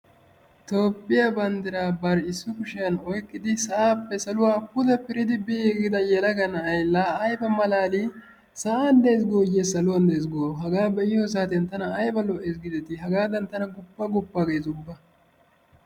Tophphiya banddiraa bari issi kushiyan oyikkidi sa'aappe saluwa pude piridi biiggida yelaga na'ay laa ayiba malaali! Sa'an Des gooyye saluwan Des goo? Hagaa be'iyo saatiyan tana ayiba lo'ees giidetii! Hagaadan tana guppa guppa ges ubba.